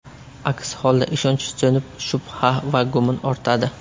Aks holda ishonch so‘nib, shubha va gumon ortadi.